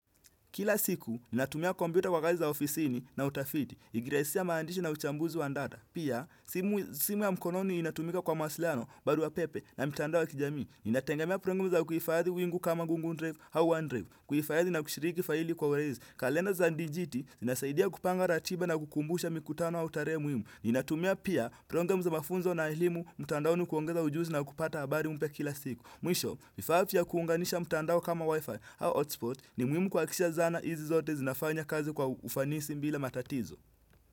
Kila siku, ninatumia kompyuta kwa kazi za ofisini na utafiti, ikiraisisa maandishi na uchambuzi wa ndata. Pia, simu ya mkononi inatumika kwa mawasiliano, barua pepe na mtandao wa kijamii. Ninategemea prongamu za kuifadhi wingu kama gungu ndrive hau hand drive. Kuifadhi na kushiriki faili kwa uraizi. Kalenda za ndijiti, inasaidia kupanga ratiba na kukumbusha mikutano au taree muimu. Ninatumia pia prongamu za mafunzo na elimu, mtandaoni kuongeza ujuzi na kupata abari mpya kila siku. Mwisho, vifaa fya kuunganisha mtandao kama wifi hau hotspot ni mwimu kuhakikisha zana hizi zote zinafanya kazi kwa ufanisi mbila matatizo.